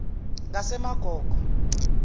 ngasemagogo